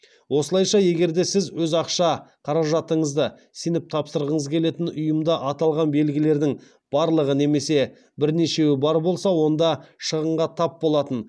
осылайша егер сіз өз ақша қаражатыңызды сеніп тапсырғыңыз келетін ұйымда аталған белгілердің барлығы немесе бірнешеуі бар болса онда шығынға тап болатын